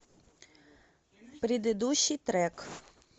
предыдущий трек